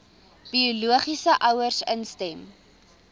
biologiese ouers instem